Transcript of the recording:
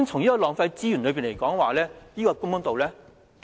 就浪費資源而言，這是否公道呢？